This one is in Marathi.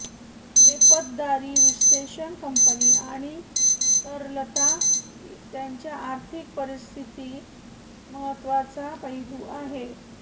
एपतदारी विश्लेषण कंपनी आणि तरलता त्याच्या आर्थिक परिस्थिती महत्त्वाचा पैलू आहे